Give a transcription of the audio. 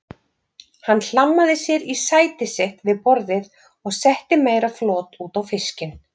Hann hlammaði sér í sæti sitt við borðið og setti meira flot út á fiskinn.